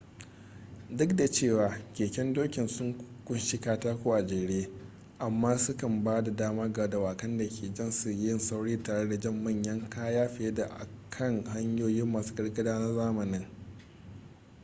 duk da cewa keken dokin sun kunshi katako a jere amma su kan ba da dama ga dawakan da ke jan su yin sauri tare da jan manyan kaya fiye da a kan hanyoyi masu gargada na zamanin